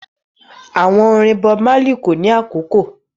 Àwọn orin Bob Marley kò ní àkókò